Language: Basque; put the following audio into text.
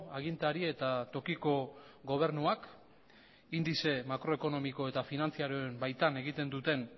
agintari eta tokiko gobernuak indize makroekonomiko eta finantzarioen baitan egiten duten